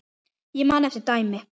Ég man eftir dæmi.